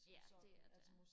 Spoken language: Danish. ja det er det